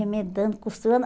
Remedando, costurando.